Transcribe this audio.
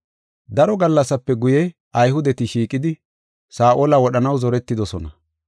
Daro gallasape guye, Ayhudeti shiiqidi, Saa7ola wodhanaw zoretidosona.